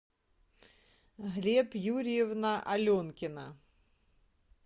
глеб юрьевна аленкина